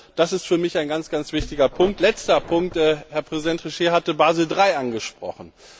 Das ist für mich ein ganz wichtiger Punkt letzter Punkt Herr Trichet hat Basel III angesprochen.